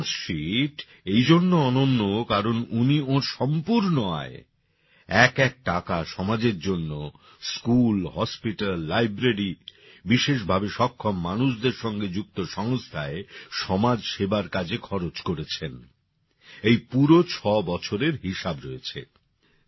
এই balance sheet এই জন্য অনন্য কারণ উনি ওঁর সম্পূর্ণ আয় এক এক টাকা সমাজের জন্য স্কুল হাসপাতাল লাইব্রেরি বিশেষ ভাবে সক্ষম মানুষদের সঙ্গে যুক্ত সংস্থায় সমাজসেবার কাজে খরচ করেছেন এই পুরো ৬ বছরের হিসাব রয়েছে